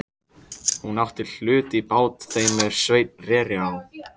Hún átti hlut í bát þeim er Sveinn reri á.